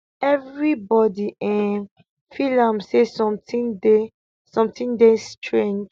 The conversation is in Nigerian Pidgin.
evribodi um feel am say sometin dey sometin dey strange